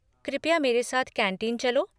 कृपया मेरे साथ कैंटीन चलो।